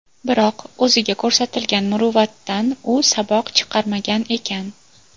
Biroq, o‘ziga ko‘rsatilgan muruvvatdan u saboq chiqarmagan ekan.